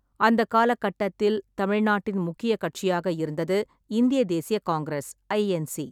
அந்தக் காலகட்டத்தில் தமிழ்நாட்டின் முக்கியக் கட்சியாக இருந்தது இந்திய தேசிய காங்கிரஸ் (ஐஎன்சி).